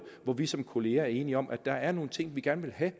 hvor vi som kollegaer er enige om at der er nogle ting vi gerne vil have